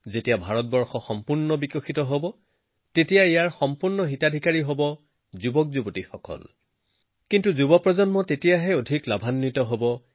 যেতিয়া ভাৰতৰ বিকাশ হব তেতিয়া যুৱকযুৱতীসকলে সৰ্বাধিক লাভৱান হব